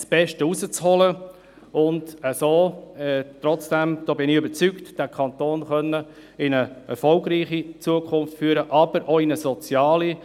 Man muss versuchen, das Beste herauszuholen und den Kanton so trotzdem in eine erfolgreiche Zukunft führen, aber auch in eine soziale.